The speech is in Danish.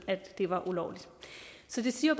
at det var ulovligt så det siger